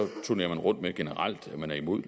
turnerer man rundt med generelt at man er imod